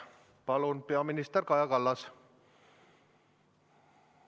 Palun, peaminister Kaja Kallas!